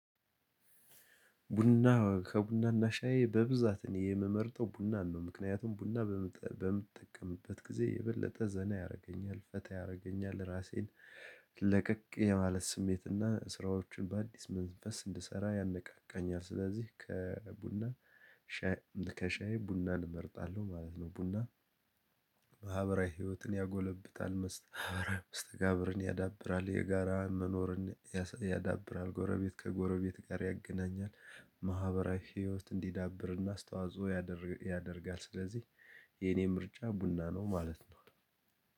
ቡና ከቡናና ሻዬ በብዛት እኔ የምመርጠው ቡናን ነው ምክንያቱም ቡና በምትጠቀምበት ጊዜ የበለጠ ዘና ያደርገኛል፣ ፈታ ያደርገኛል፣ ራሴን ለቀቅ የማለት ስሜት እና ስራዎችን በአዲስ መንፈስ እንድሰራ ያነቃቃኛል ስለዚህ ከቡና ከሻይ ቡናን እመርጣለሁ ማለት ነው። ቡና ማህበራዊ ህይወትን ያጎለብታል፣ መስተ መስተጋብርን ያዳብራል፣ የጋራ መኖርን ያዳብራል፣ ጎረቤት ከጎረቤት ጋር ያገናኛል፣ ማህበራዊ ህይወት እንዲዳብርና አስተዋጽኦ ያደርጋል ስለዚህ የኔ ምርጫ ቡና ነው ማለት ነው።